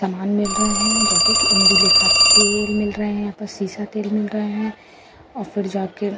समान मिल रहे हैं जैसे कि इद्रुलेखा तेल मिल रहे है यहां पर सेसा तेल मिल रहे हैं और फिर जा के --